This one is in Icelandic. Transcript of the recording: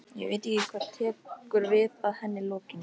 Ég veit ekki hvað tekur við að henni lokinni.